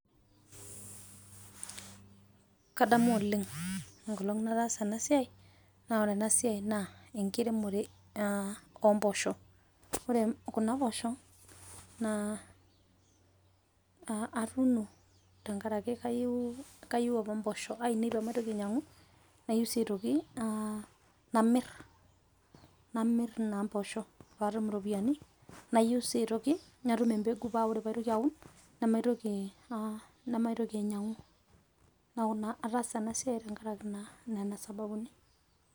Kadamu oleng' engolong' nataasa ena siai naa ore ena siai naa engiremore oo mboosho ore Kuna poosho naa a atuuno tengaraki kayiu apa imboosho ainei paamaitoki ainyiang'u, nayieu sii aitoki namirr sii impoosho paatum iropiyiani nayieu sii aitoki natum empeku paa tenaitoki aun, nemaitoki ainyiang'u neeku naa ataasa ena siai tengaraki naa Nena sababuni.